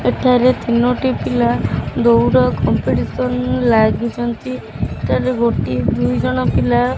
ଏଠାରେ ରେ ତିନୋଟି ଦୌଡ଼ କମ୍ପେତିସନ ଲାଗିଛନ୍ତି ଏଟାରେ ଗୋଟିଏ ଦୁଇଜଣ ପିଲା --